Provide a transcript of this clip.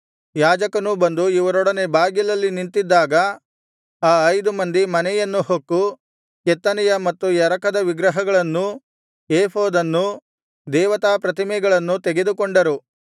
ಯಾಜಕನೂ ಬಂದು ಇವರೊಡನೆ ಬಾಗಿಲಲ್ಲಿ ನಿಂತಿದ್ದಾಗ ಆ ಐದು ಮಂದಿ ಮನೆಯನ್ನು ಹೊಕ್ಕು ಕೆತ್ತನೆಯ ಮತ್ತು ಎರಕದ ವಿಗ್ರಹಗಳನ್ನೂ ಏಫೋದನ್ನೂ ದೇವತಾಪ್ರತಿಮೆಗಳನ್ನೂ ತೆಗೆದುಕೊಂಡರು